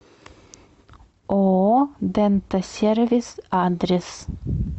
ооо дентасервис адрес